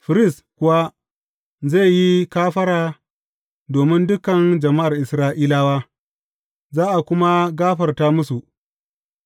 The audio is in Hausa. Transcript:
Firist kuwa zai yi kafara domin dukan jama’ar Isra’ilawa, za a kuma gafarta musu,